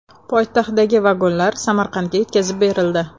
Poytaxtdagi vagonlar Samarqandga yetkazib berildi.